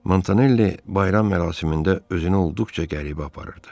Montanelli bayram mərasimində özünü olduqca qəribə aparırdı.